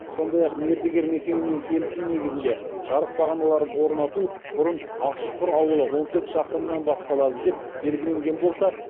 сондай ақ мердігер мекемемен келісім негізінде жарық бағаналарын орнату бұрын ақшұқыр ауылы он төрт шақырымнан басталады деп белгіленген болса